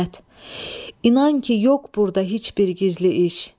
İsmət, inan ki, yox burda heç bir gizli iş.